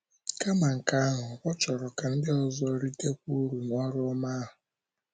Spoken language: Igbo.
Kama nke ahụ, ọ chọrọ ka ndị ọzọ ritekwa uru n’oru ọma ahụ.